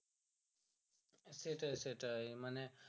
সেইটাই সেইটাই মানে